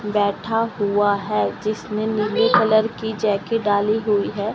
बैठा हुआ है जिसने नीली कलर की जैकेट डाली हुई है।